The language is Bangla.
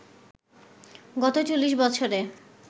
গত চল্লিশ বছরে